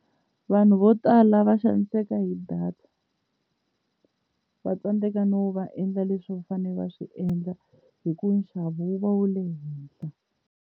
Vanhu vo tala va xaniseka hi data va tsandzeka no va endla leswi va fanele va swi endla hi ku nxavo wu va wu le henhla